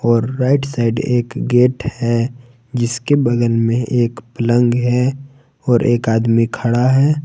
और right side एक gate है जिसके बगल में एक पलंग है और एक आदमी खड़ा है।